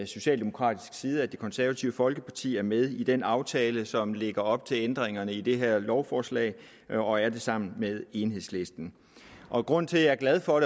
socialdemokratisk side at det konservative folkeparti er med i den aftale som lægger op til ændringerne i det her lovforslag og er det sammen med enhedslisten grunden til at jeg er glad for